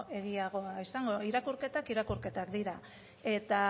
egiagoa izango irakurketak irakurketak dira eta